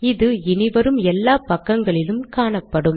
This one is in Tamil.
இது இனி வரும் எல்லா பக்கங்களிலும் காணப்படும்